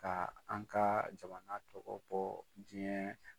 Ka an ka jamana tɔbɔ diɲɛ